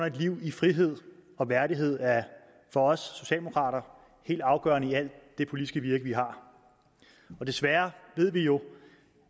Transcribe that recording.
et liv i frihed og værdighed er for os socialdemokrater helt afgørende i det politiske virke vi har desværre ved vi jo